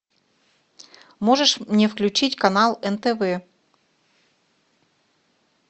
можешь мне включить канал нтв